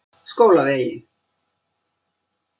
Skólavegi